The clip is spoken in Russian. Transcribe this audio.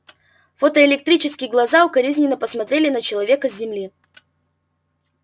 фотоэлектрические глаза укоризненно посмотрели на человека с земли